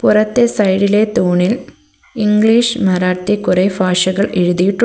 പുറത്തെ സൈഡിലെ തൂണിൽ ഇംഗ്ലീഷ് മറാത്തി കുറെ ഫാഷകൾ എഴുതിയിട്ടു--